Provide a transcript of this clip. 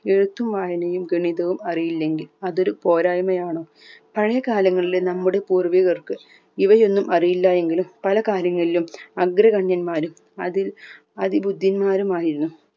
എഴുത്തും വായനയും ഗണിതവും അറിയില്ലെങ്കിൽ അതൊരു പോരായിമയാണോ പഴയ കാലങ്ങളിലെ നമ്മുടെ പൂർവ്വികർക്ക് ഇവയൊന്നും അറിയില്ല എങ്കിലും പല കാര്യങ്ങളിലും അഗ്രഗണ്യന്മാരും അതിൽ അതിബുദ്ധിമാരുമായിരുന്നു